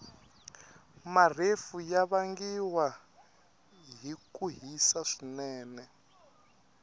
marefu yavangiwa hhikuhhisa swinene